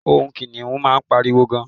ohun kiniun ma n pariwo gan